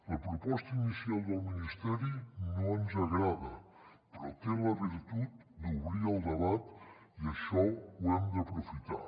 la proposta inicial del ministeri no ens agrada però té la virtut d’obrir el debat i això ho hem d’aprofitar